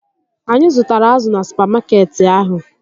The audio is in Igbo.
Anyị zụtara azụ na supamakeetị ahụ